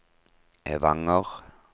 Evanger